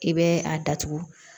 I bɛ a datugu